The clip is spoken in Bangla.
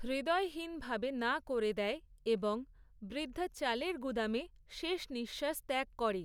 হৃদয়হীনভাবে না করে দেয়, এবং বৃদ্ধা চালের গুদামে শেষ নিঃশ্বাস ত্যাগ করে।